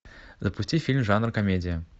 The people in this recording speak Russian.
запусти фильм жанр комедия